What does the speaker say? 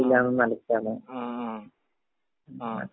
ങ....ങാഹാ....................ങ.